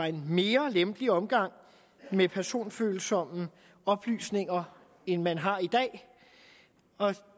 en mere lempelig omgang med personfølsomme oplysninger end man har i dag og